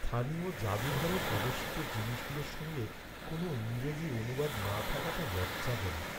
স্থানীয় জাদুঘরে প্রদর্শিত জিনিসগুলোর সঙ্গে কোনও ইংরেজি অনুবাদ না থাকাটা লজ্জাজনক।